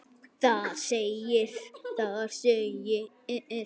Þar segir: